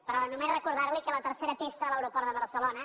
però només re·cordar·li que la tercera pista de l’aeroport de barcelo·na